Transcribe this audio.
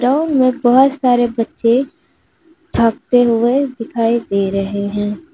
Ground में बहोत सारे बच्चे भागते हुए दिखाई दे रहे हैं।